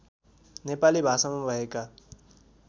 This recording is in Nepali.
नेपाली भाषामा भएका